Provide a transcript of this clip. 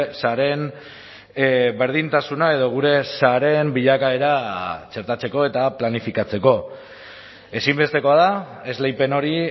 sareen berdintasuna edo gure sareen bilakaera txertatzeko eta planifikatzeko ezinbestekoa da esleipen hori